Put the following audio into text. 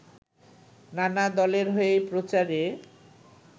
নানা দলের হয়েই প্রচারে